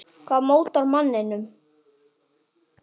Hvað mótar manninn?